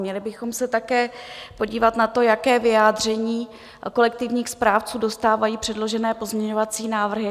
Měli bychom se také podívat na to, jaké vyjádření kolektivních správců dostávají předložené pozměňovací návrhy.